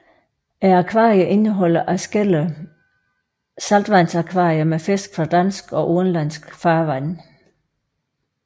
Akvariet indeholder adskillige saltvandsakvarier med fisk fra danske og udenlandske farvande